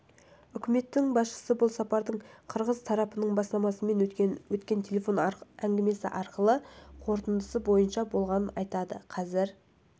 үкіметінің басшысы бұл сапардың қырғыз тарапының бастамасымен өткен телефон арқылы әңгімелесудің қорытындысы бойынша болғанын айтты қазір